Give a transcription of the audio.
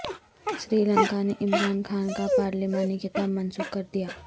سری لنکا نے عمران خان کا پارلیمانی خطاب منسوخ کر دیا